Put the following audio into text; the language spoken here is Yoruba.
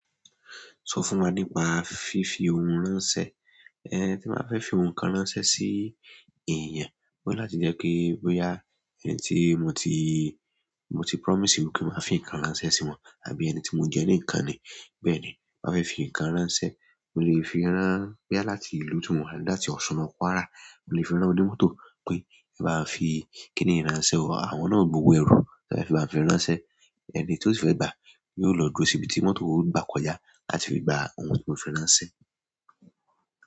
Sọ fún wa nípa fífi ohun ránṣẹ́. Ẹ tí máa fẹ́ fi nǹkan ránṣẹ́ sí èèyàn, gbọdọ̀ láti jẹ́ kí bóyá ẹni tí mo ti, mo ti promise nǹkan máa fi nǹkan ránṣẹ́ sí wọn àbí ẹni tí mo jẹ́ ní nǹkan ni. Bẹ́ẹ̀ ni, bá fẹ́ fi nǹkan ránṣẹ́, mo lè fi rán bóyá láti ìlú tí mo wà rí dáàsí Ọ̀ṣun wá wá ara. Mo lè fi rán oní mọ́tò pé, "Ẹ bá n fi kiní ránṣẹ́ o." Àwọn náà gbogbo ẹrù, láti bá n fi ránṣẹ́, ẹni tí ó sì fẹ́ gbà yóò lọ dúró sí ibi tí mọ́tò ó gbà kọjá láti fi gba ohun tí ó fi ránṣẹ́.